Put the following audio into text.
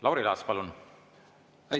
Lauri Laats, palun!